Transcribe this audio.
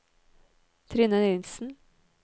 Trine Nielsen